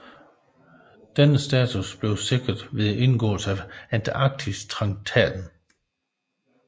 Denne status blev sikret ved indgåelsen af Antarktistraktaten